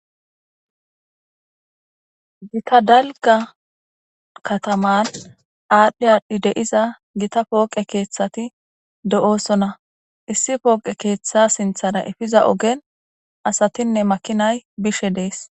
gita dalga kataman aadhdhi aadhdhi deiza gita pooqe keeththati do7oosona issi pooqe keeththa sinthara efiza ogen asatinne makinay bishe dees